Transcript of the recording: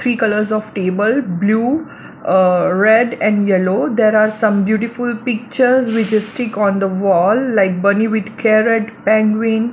Three colours of table blue uh red and yellow there are some beautiful pictures which are stick on the wall like bunny with carrot penguin.